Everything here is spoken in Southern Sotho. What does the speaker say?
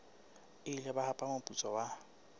ile ba hapa moputso wa